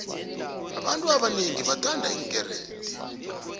abantu abonengi bathanda iinkerede